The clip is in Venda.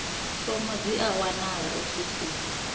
fomo dzi a wanalea ofisini